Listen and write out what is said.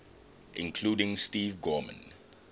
including steve gorman